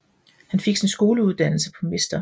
Han fik sin skoleuddannelse på Mr